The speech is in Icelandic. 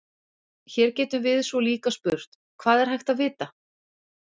Hér getum við svo líka spurt: Hvað er hægt að vita?